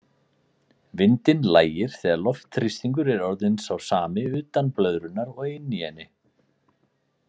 Vindinn lægir þegar loftþrýstingur er orðinn sá sami utan blöðrunnar og inni í henni.